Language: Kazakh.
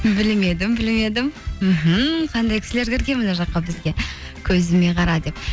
білмедім білмедім мхм қандай кісілер кірген мына жаққа бізге көзіме қара деп